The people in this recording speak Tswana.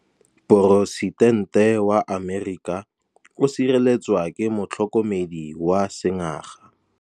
Poresitêntê wa Amerika o sireletswa ke motlhokomedi wa sengaga.